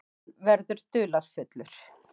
Hann verður dularfullur.